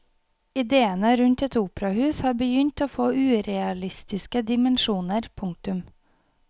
Idéene rundt et operahus har begynt å få urealistiske dimensjoner. punktum